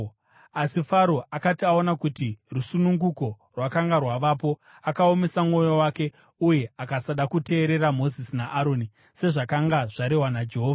Asi Faro akati aona kuti rusununguko rwakanga rwavapo, akaomesa mwoyo wake uye akasada kuteerera Mozisi naAroni, sezvakanga zvarehwa naJehovha.